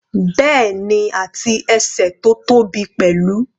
Bẹ́ẹ̀ni, àti ẹsẹ̀ tó tóbi pẹ̀lú.